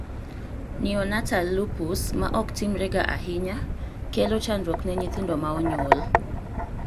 Neonatal Lupus, ma ok timre ga ahinya, kelo chanduok ne nyithindo ma onyuol